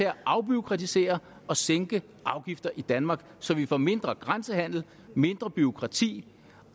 at afbureaukratisere og sænke afgifter i danmark så vi får mindre grænsehandel og mindre bureaukrati